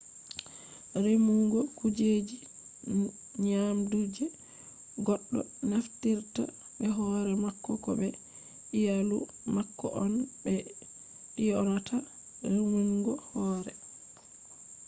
remugo kujeji nyamdu je goɗɗo naftirta be hore mako ko be iyalu mako on ɓe ɗyonata remungo hore